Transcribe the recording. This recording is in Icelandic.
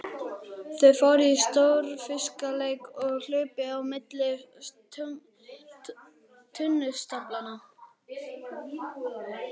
Þau fóru í stórfiskaleik og hlupu á milli tunnustaflanna.